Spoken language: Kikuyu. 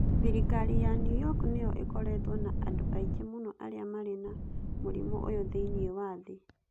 Thirikari ya New York nĩyo ĩkoretwo na andũ aingĩ mũno arĩa marĩ na mũrimũ ũyũ thĩinĩ wa thĩ.